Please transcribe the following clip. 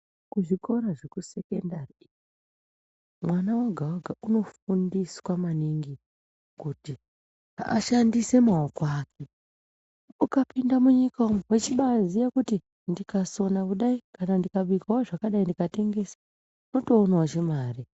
Kuzvikora zvekusekondari vana voga voga kunofundiswa maningi kuti ashandise maoko ake .Ukapinda munyika umo wechibaaziya kuti ndikasona kudai kana ndikabikawo zvakadai ndikatengesa wotoonawo chimare.